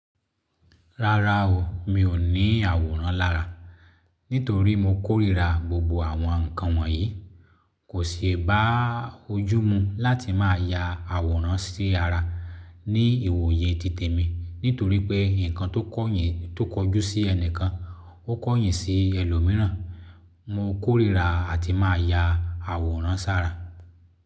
Rárá o, mi ò ní àwòrán lára, nítorí mo kórìíra gbogbo àwọn ǹkan wọ̀nyí. Kò ṣe bá ojú mu láti má ya àwòrán sí ara ní ìwòye tìtẹ̀ mi, nítorí pé ǹkan tó kọ̀ yín tó kọjú sí ẹni kan ó kọ̀ yìn sí ẹlòmíràn. Mo kórìíra àti má ya àwòrán sára.